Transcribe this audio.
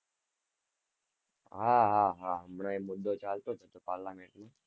હા હા હા હમણાં એ મુદ્દો ચાલતો હતો parliament માં,